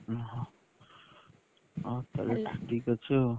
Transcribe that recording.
ଓହୋ, ହଉ ତାହେଲେ ଠିକ୍ ଅଛି ଆଉ